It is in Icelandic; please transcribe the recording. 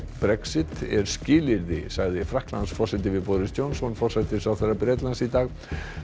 Brexit er skilyrði sagði Frakklandsforseti við Boris Johnson forsætisráðherra Bretlands í dag